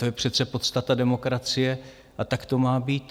To je přece podstata demokracie a tak to má být.